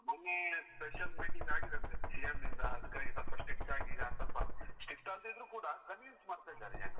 ಮೊನ್ನೆ special meeting ಆಗಿದೆ ಅಂತೆ CM ಯಿಂದ ಅದಿಕ್ಕಾಗಿ ಸ್ವಲ್ಪ strict ಆಗಿ ಈಗ ಸ್ವಲ್ಪ, strict ಆಗ್ದೇ ಇದ್ರೂ ಕೂಡ convince ಮಾಡ್ತಾ ಇದ್ದಾರೆ ಜನ.